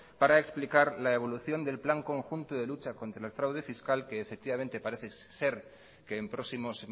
para explicar la evolución del plan conjunto de lucha contra el fraude fiscal que efectivamente parece ser que en próximos